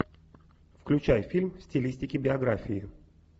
включай фильм в стилистике биографии